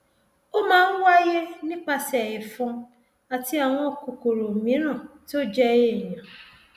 ó máa ń wáyé nípasẹ ẹfọn àti àwọn kòkòrò mìíràn tó jẹ èèyàn